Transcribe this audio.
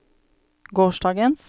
gårsdagens